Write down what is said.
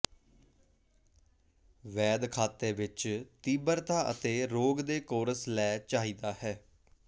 ਵੈਦ ਖਾਤੇ ਵਿੱਚ ਤੀਬਰਤਾ ਅਤੇ ਰੋਗ ਦੇ ਕੋਰਸ ਲੈ ਚਾਹੀਦਾ ਹੈ